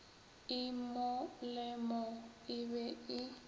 e molemo e be e